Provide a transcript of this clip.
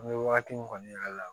An bɛ wagati min kɔni y'a la